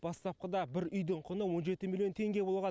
бастапқыда бір үйдің құны он жеті миллион теңге болған